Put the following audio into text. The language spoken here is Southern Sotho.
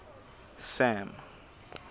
sam